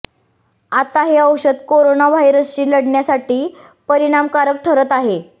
आता हे औषध कोरोना व्हायरसशी लढण्यासाठी परिणामकारक ठरत आहे